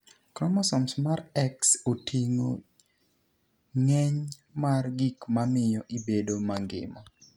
Chromosome mar X otinig'o nig'eniy mar gik mamiyo ibedo manigima.